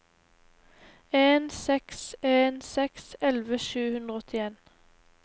en seks en seks elleve sju hundre og åttien